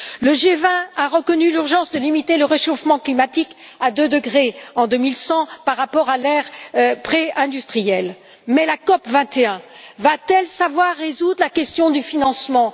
Le G20 a reconnu l'urgence de limiter le réchauffement climatique à deux degrés en 2100 par rapport à l'ère préindustrielle, mais la COP 21 va t elle savoir résoudre la question du financement?